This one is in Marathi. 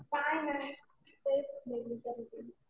काही नाही. तेच नेहमीचं रुटीन.